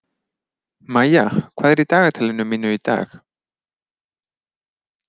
Mæja, hvað er í dagatalinu mínu í dag?